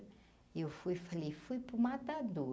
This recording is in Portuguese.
E eu fui e falei fui para o matadouro.